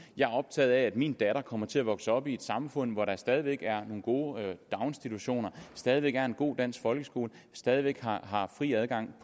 jeg er optaget af at min datter kommer til at vokse op i et samfund hvor der stadig væk er nogle gode daginstitutioner stadig væk er en god dansk folkeskole stadig væk er fri adgang